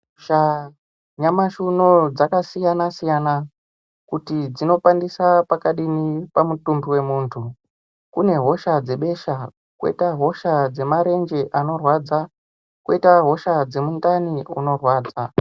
Hosha ,nyamashiuno dzakasiyanasiyana kuti dzinokwanise pakadini pamutumbi wemuntu kune hosha dzebesha, kwoita hosha dzemarenje anorwadza kwoita hosha dzemundani munorwadza.